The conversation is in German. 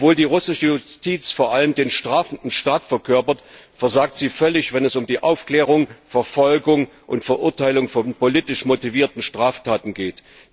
Obwohl die russische Justiz vor allem den strafenden Staat verkörpert, versagt sie völlig, wenn es um die Aufklärung, Verfolgung und Verurteilung von politisch motivierten Straftaten geht.